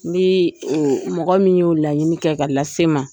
Ni mɔgɔ min y'o laɲini kɛ ka lase n ma.